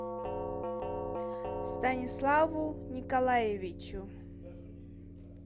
станиславу николаевичу